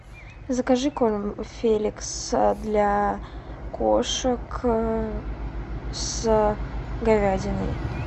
закажи корм феликс для кошек с говядиной